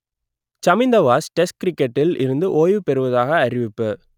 Chaminda Vaas test கிரிக்கெட்டில் இருந்து ஓய்வு பெறுவதாக அறிவிப்பு